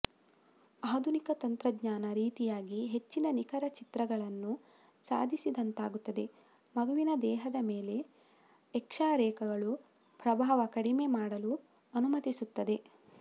ಆಧುನಿಕ ತಂತ್ರಜ್ಞಾನ ರೀತಿಯಾಗಿ ಹೆಚ್ಚಿನ ನಿಖರ ಚಿತ್ರಗಳನ್ನು ಸಾಧಿಸಿದಂತಾಗುತ್ತದೆ ಮಗುವಿನ ದೇಹದ ಮೇಲೆ ಎಕ್ಷರೇಗಳು ಪ್ರಭಾವ ಕಡಿಮೆ ಮಾಡಲು ಅನುಮತಿಸುತ್ತದೆ